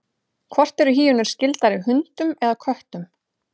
hvort eru hýenur skyldari hundum eða köttum